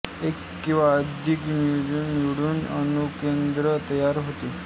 एक किंवा अधिक न्यूक्लिऑन मिळून अणुकेंद्रक तयार होते